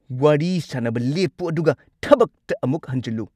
ꯋꯥꯔꯤ ꯁꯥꯅꯕ ꯂꯦꯞꯄꯨ ꯑꯗꯨꯒ ꯊꯕꯛꯇ ꯑꯃꯨꯛ ꯍꯟꯖꯤꯜꯂꯨ!